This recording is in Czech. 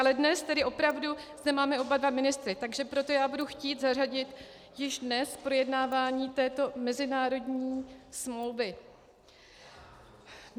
Ale dnes tedy opravdu zde máme oba dva ministry, takže proto já budu chtít zařadit již dnes projednávání této mezinárodní smlouvy.